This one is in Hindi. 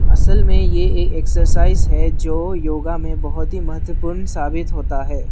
असल में ये एक एक्सरसाइज है जो योगा में बहुत ही महत्वपूर्ण साबित होता है।